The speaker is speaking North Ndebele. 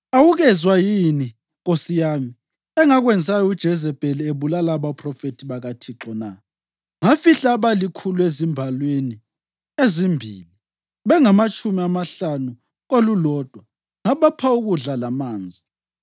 Awukezwa yini, nkosi yami, engakwenzayo uJezebheli ebulala abaphrofethi bakaThixo na? Ngafihla abalikhulu ezimbalwini ezimbili, bengamatshumi amahlanu kolulodwa, ngabapha ukudla lamanzi.